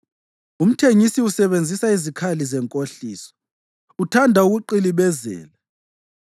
Umthengisi usebenzisa izikali zenkohliso; uthanda ukuqilibezela.